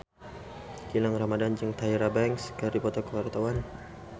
Gilang Ramadan jeung Tyra Banks keur dipoto ku wartawan